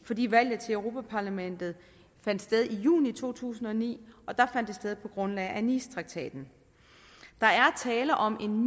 fordi valget til europa parlamentet fandt sted i juni to tusind og ni og der fandt det sted på grundlag af nicetraktaten der er tale om en